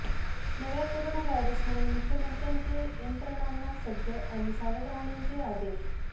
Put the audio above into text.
नव्या कोरोना व्हायरसमुळे मुख्यमंत्र्यांचे यंत्रणांना सज्ज आणि सावध राहण्याचे आदेश